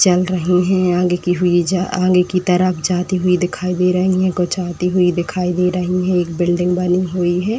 चल रही हैं आगे की हुई जा आगे की तरफ जाती हुई दिखाई दे रही हैं। कुछ आती हुई दिखाई दे रही हैं। एक बिल्डिंग बनी हुई है।